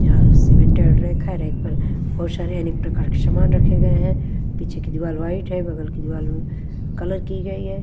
यहां cemented rack है rack पर बहुत सारे अनेक प्रकार के सामान रखे गए हैं पीछे की दीवार वाइट है बगल की दीवाल कलर की गई है।